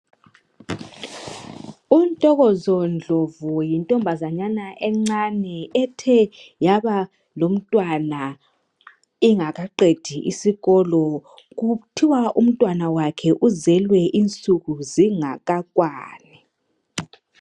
uNtokozo Ndlovu yintomabazanyana encane ethe yaba lomntwana ingakaqedi isikolo kuthiwa umntwana wakhe uzelwe insuku zingakakwani